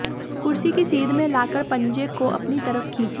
कुर्सी की सीध में लाकर पंजे को अपनी तरफ खींचें